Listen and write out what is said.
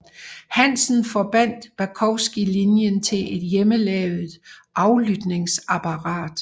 Hansen forbandt Bakowski linjen til et hjemmelavet aflytningsapparat